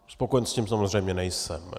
Spokojen s tím samozřejmě nejsem.